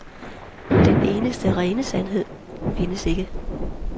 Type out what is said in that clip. Den eneste rene sandhed findes ikke.